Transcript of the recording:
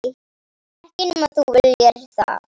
Ekki nema þú viljir það.